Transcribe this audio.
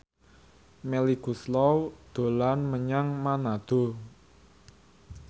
Melly Goeslaw dolan menyang Manado